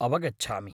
अवगच्छामि।